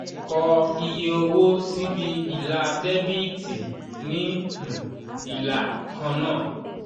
kọ iye owó síbi ilà dẹ́bíítì ní um ìlà kan náà.